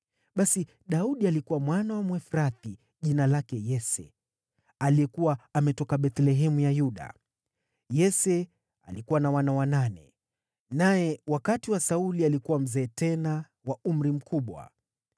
Basi Daudi alikuwa mwana wa Mwefrathi jina lake Yese aliyekuwa ametoka Bethlehemu ya Yuda. Yese alikuwa na wana wanane, naye wakati wa Sauli alikuwa mzee tena wa umri mkubwa.